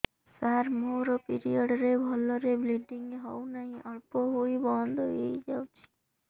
ସାର ମୋର ପିରିଅଡ଼ ରେ ଭଲରେ ବ୍ଲିଡ଼ିଙ୍ଗ ହଉନାହିଁ ଅଳ୍ପ ହୋଇ ବନ୍ଦ ହୋଇଯାଉଛି